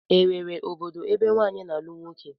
E nwere obodo ebe nwaanyị na-alụ nwoke?